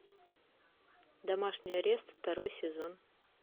домашний арест второй сезон